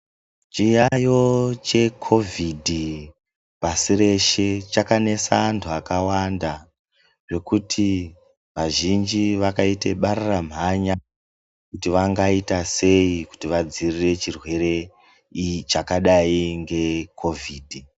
Chiyaiyo chekovhidhi pasi reshe chakanesa antu akawanda zvekuti vazhinji vakaita bararamhanya kuti vangaiya sei kuti vadzivirire chirwere chakadai ngekovhidhi.